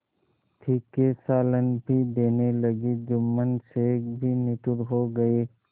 तीखे सालन भी देने लगी जुम्मन शेख भी निठुर हो गये